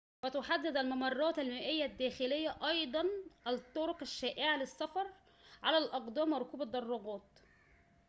وتحدد الممرات المائية الداخلية أيضاً الطرق الشائعة للسفر على الأقدام وركوب الدراجات